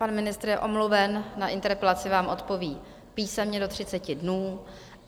Pan ministr je omluven, na interpelaci vám odpoví písemně do 30 dnů.